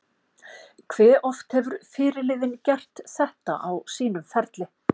Hve oft hefur fyrirliðinn gert þetta á sínum ferli?